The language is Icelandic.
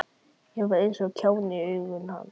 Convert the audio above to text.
Ég var eins og kjáni í augum hans.